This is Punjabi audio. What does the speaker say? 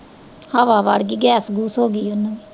ਹਵਾ ਵੜ ਗਈ ਐ ਗੈਸ ਗੂਸ ਹੋਗੀ ਉਹਨੂੰ ਵੀ